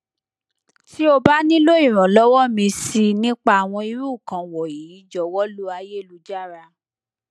ti o ba nilo iranlowo mi si nipa awon iru ikan wonyi jowo lo ayelujara